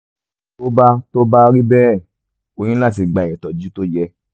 tó bá tó bá rí bẹ́ẹ̀ o ní láti gba ìtọ́jú tó yẹ